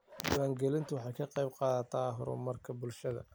Diiwaangelintu waxay ka qaybqaadataa horumarka bulshada.